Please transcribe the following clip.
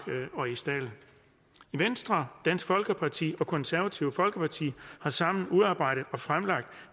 og i stald venstre dansk folkeparti og konservative folkeparti har sammen udarbejdet og fremlagt